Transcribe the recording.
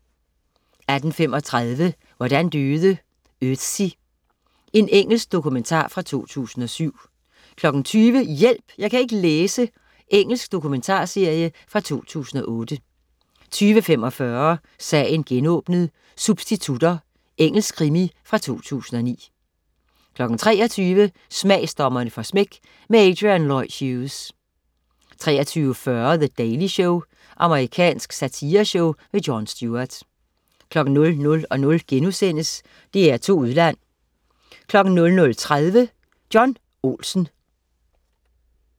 18.35 Hvordan døde Ötzi? Engelsk dokumentar fra 2007 20.00 Hjælp! Jeg kan ikke læse. Engelsk dokumentarserie fra 2008 20.45 Sagen genåbnet: Substitutter. Engelsk krimi fra 2009 23.00 Smagsdommerne får smæk. Adrian Lloyd Hughes 23.40 The Daily Show. Amerikansk satireshow. Jon Stewart 00.00 DR2 Udland* 00.30 John Olsen